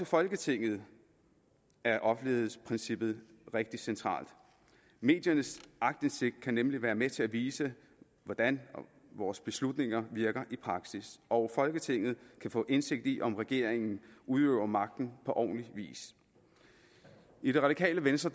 folketinget er offentlighedsprincippet rigtig centralt mediernes aktindsigt kan nemlig være med til at vise hvordan vores beslutninger virker i praksis og folketinget kan få indsigt i om regeringen udøver magten på ordentlig vis i det radikale venstre